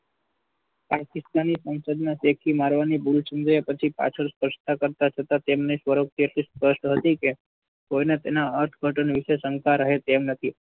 પાકિસ્તાન સંસદ માં મારવાની ભુલ સમજાય પછી સ્પષ્ટતા કરતા જતા તેમને નથી કે કોઈને તેના અર્થઘટન વિશે શંકા રહે તેમ નથી.